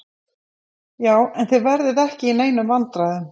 Já, en þið verðið ekki í neinum vandræðum.